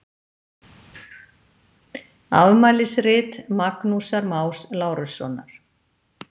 Afmælisrit Magnúsar Más Lárussonar.